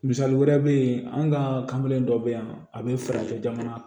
Misali wɛrɛ bɛ yen an ka kanbilen dɔ bɛ yan a bɛ fara jamana